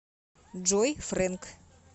джой фрэнк